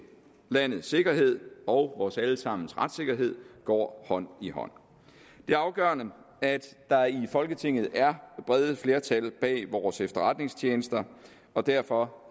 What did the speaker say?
landets sikkerhed og vores alle sammens retssikkerhed går hånd i hånd det er afgørende at der i folketinget er brede flertal bag vores efterretningstjenester derfor